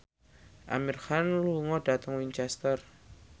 Amir Khan lunga dhateng Winchester